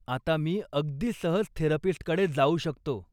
आता मी अगदी सहज थेरपिस्टकडे जाऊ शकतो.